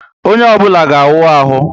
Onye obula ga awu ahu